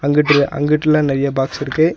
இங்கிட்ல அங்கிட்லா நறைய பாக்ஸ் இருக்கு.